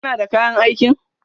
Kana da kayan aikin?